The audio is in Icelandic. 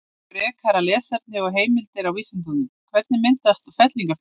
Frekara lesefni og heimildir á Vísindavefnum: Hvernig myndast fellingafjöll?